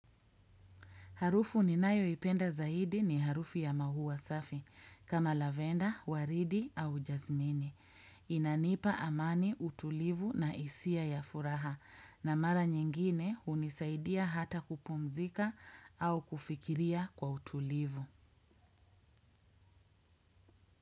Harufu ninayoipenda zaidi ni harufu ya maua safi, kama lavenda, waridi au jazmini. Inanipa amani utulivu na isia ya furaha, na mara nyingine unisaidia hata kupumzika au kufikiria kwa utulivu.